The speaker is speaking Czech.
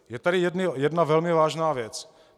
Je tady jedna velmi vážná věc.